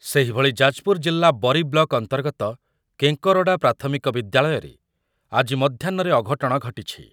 ସେହିଭଳି ଯାଜପୁର ଜିଲ୍ଲା ବରୀ ବ୍ଲକ ଅନ୍ତର୍ଗତ କେଁକରଡା ପ୍ରାଥମିକ ବିଦ୍ୟାଳୟରେ ଆଜି ମଧ୍ୟାହ୍ନରେ ଅଘଟଣ ଘଟିଛି।